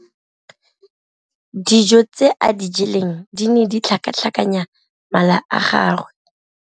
Dijô tse a di jeleng di ne di tlhakatlhakanya mala a gagwe.